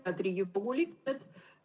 Head Riigikogu liikmed!